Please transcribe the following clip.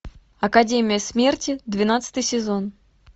академия смерти двенадцатый сезон